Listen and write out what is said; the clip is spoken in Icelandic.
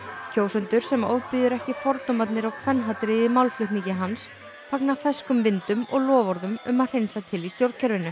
kjósendur sem ofbýður ekki fordómarnir og kvenhatrið í málflutningi hans fagna ferskum vindum og loforðum um að hreinsa til í stjórnkerfinu